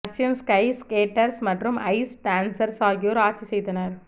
Russian ski skaters மற்றும் ice dancers ஆகியோர் ஆட்சி செய்தனர்